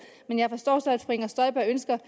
men jeg forstår så at fru inger støjberg ønsker